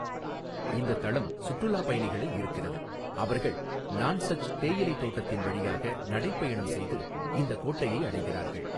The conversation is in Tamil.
இந்த தளம் சுற்றுலா பயணிகளை ஈர்க்கிறது, அவர்கள் நான்ஸச் தேயிலை தோட்டத்தின் வழியாக நடைபயணம் செய்து இந்தக் கோட்டையை அடைகிறார்கள்.